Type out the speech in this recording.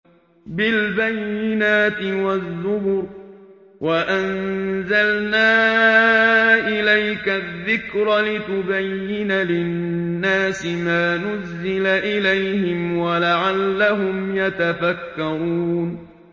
بِالْبَيِّنَاتِ وَالزُّبُرِ ۗ وَأَنزَلْنَا إِلَيْكَ الذِّكْرَ لِتُبَيِّنَ لِلنَّاسِ مَا نُزِّلَ إِلَيْهِمْ وَلَعَلَّهُمْ يَتَفَكَّرُونَ